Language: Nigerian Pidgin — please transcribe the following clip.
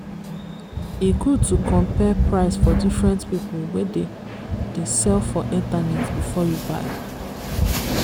e good to compare price for diferent people wey dey dey sell for internet before you buy.